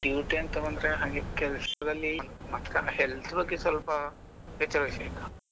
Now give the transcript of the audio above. Duty ಅಂತ ಬಂದ್ರೆ ಹಾಗೆ ಕೆಲಸದಲ್ಲಿ ಮಾತ್ರ ಅಲ್ಲಾhealth ಬಗ್ಗೆ ಸ್ವಲ್ಪ ಎಚ್ಚರ ವಹಿಸಬೇಕು.